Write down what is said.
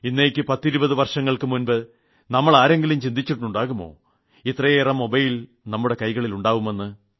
ഇന്നേക്ക് പത്തിരുപത് വർഷങ്ങൾക്കു മുമ്പ് നമ്മളാരെങ്കിലും ചിന്തിച്ചിട്ടുണ്ടാകുമോ ഇത്രയേറെ മൊബൈൽ നമ്മുടെയൊക്കെ കൈകളിൽ ഉണ്ടാകുമെന്ന്